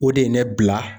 O de ye ne bila